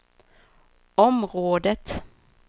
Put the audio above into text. området